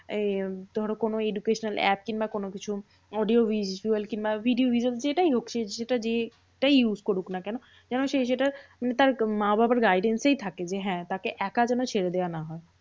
আহ ধরো কোনো educational app কিংবা কোনোকিছু audio visual কিংবা video visual যেটাই হোক। সে সেটা দিয়ে যেটাই use করুক না কেন? যেন সে সেটার উম তার মা বাবার guidance এই থাকে। যে হ্যাঁ তাকে একা যেন ছেড়ে দেওয়া না হয়।